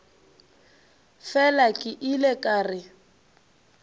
fela ke ile ka re